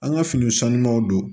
An ka fini sanumanw don